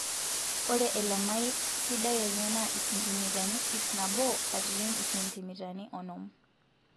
Ore elamai sidai enye naa isentimitani ip nabo katitin isentimitani onom.